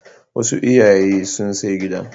Wasu iyaye sun sai gida.